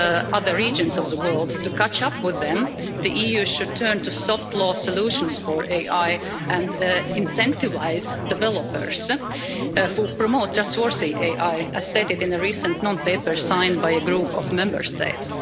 other regions in the world. To catch up, the EU should turn to soft law solutions for AI and incentivise developers who promote trustworthy AI, as stated in a recent non paper signed by a group of Member States.